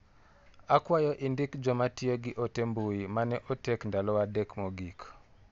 Akwayo indik joma tiyo gi ote mbui mane otek ndalo adek mogik.